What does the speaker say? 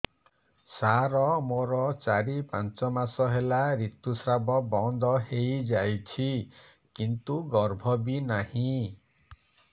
ସାର ମୋର ଚାରି ପାଞ୍ଚ ମାସ ହେଲା ଋତୁସ୍ରାବ ବନ୍ଦ ହେଇଯାଇଛି କିନ୍ତୁ ଗର୍ଭ ବି ନାହିଁ